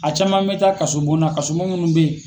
A caman bɛ taa kaso bon na kaso bon munnu bɛ yen.